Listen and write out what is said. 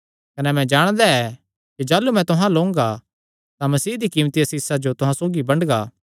कने मैं जाणदा ऐ कि जाह़लू मैं तुहां अल्ल ओंगा तां मसीह दी कीमती आसीषां जो तुहां सौगी बंडगा